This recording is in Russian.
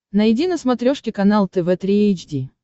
найди на смотрешке канал тв три эйч ди